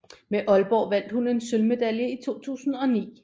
Med Aalborg vandt hun en sølvmedalje i 2009